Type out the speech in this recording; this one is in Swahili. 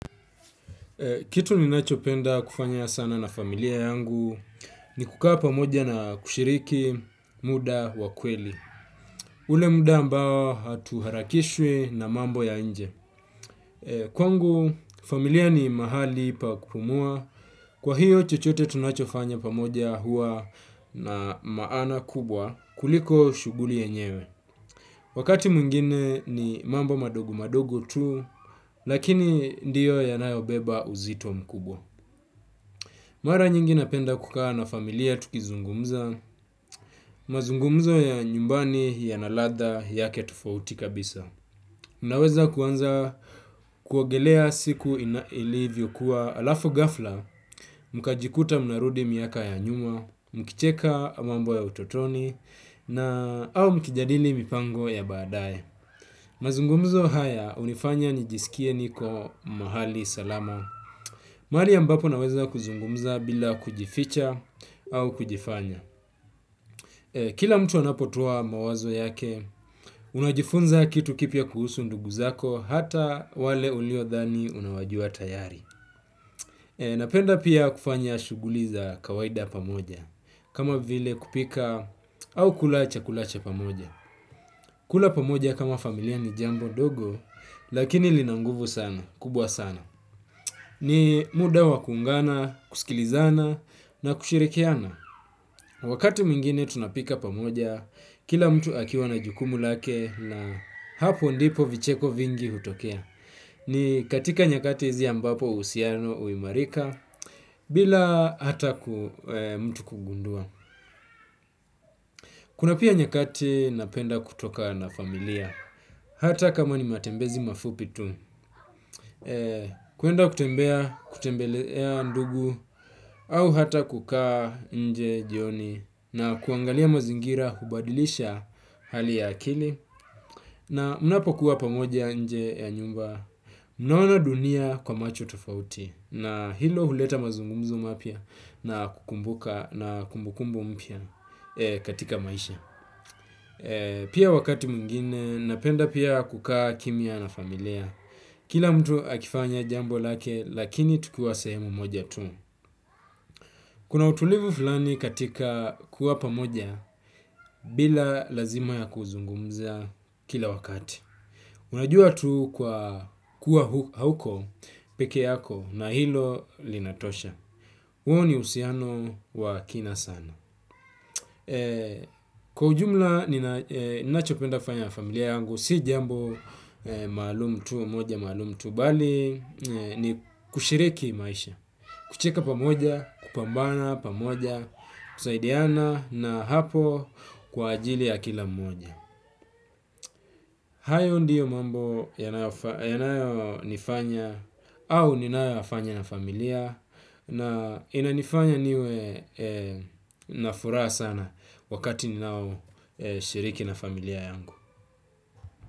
Kitu ninachopenda kufanya sana na familia yangu ni kukaa pamoja na kushiriki muda wa kweli. Ule muda ambao hatuharakishwi na mambo ya nje. Kwangu familia ni mahali pa kumua, kwa hiyo chochote tunachofanya pamoja huwa na maana kubwa kuliko shughuli yenyewe. Wakati mwingine ni mambo madogo madogo tu, lakini ndiyo yanayobeba uzito mkubwa. Mara nyingi napenda kukaa na familia tukizungumza, mazungumzo ya nyumbani ya na ladha yake tofauti kabisa. Unaweza kuanza kuogelea siku ilivyokuwa alafu ghafla, mkajikuta mnarudi miaka ya nyuma, mkicheka ama mambo ya utotoni na au mkijadili mipango ya baadaye. Mazungumzo haya hunifanya nijisikie niko mahali salama. Mahali ambapo naweza kuzungumza bila kujificha au kujifanya. Kila mtu anapotoa mawazo yake, unajifunza kitu kipya kuhusu ndugu zako hata wale uliodhani unawajua tayari. Napenda pia kufanya shuguli za kawaida pamoja, kama vile kupika au kula chakula cha pamoja. Kula pamoja kama familia ni jambo dogo, lakini lina nguvu sana, kubwa sana. Ni muda wa kuungana, kusikilizana na kushirikiana. Wakati mwingine tunapika pamoja, kila mtu akiwa na jukumu lake na hapo ndipo vicheko vingi hutokea. Ni katika nyakati hizi ambapo uhusiano huimarika bila hata mtu kugundua. Kuna pia nyakati napenda kutoka na familia. Hata kama ni matembezi mafupi tu, kuenda kutembea kutembelea ndugu au hata kukaa nje jioni na kuangalia mazingira hubadilisha hali ya akili na unapokuwa pamoja nje ya nyumba. Mnaona dunia kwa macho tofauti na hilo huleta mazungumzo mapya na kukumbuka na kumbukumbu mpya katika maisha. Pia wakati mwingine napenda pia kukaa kimya na familia. Kila mtu akifanya jambo lake lakini tukiwa sehemu moja tu. Kuna utulivu fulani katika kuwa pamoja bila lazima ya kuzungumza kila wakati. Unajua tu kwa kuwa hauko peke yako na hilo linatosha huo ni uhusiano wa kina sana. Kwa ujumla ninachopenda kufanya na familia yangu si jambo maalum tu mmoja maalum tu bali ni kushiriki maisha kucheka pamoja, kupambana pamoja kusaidiana na hapo kwa ajili ya kila mmoja. Hayo ndiyo mambo yanayonifanya au ninayoyafanya na familia na inanifanya niwe na furaha sana wakati ninaoshiriki na familia yangu.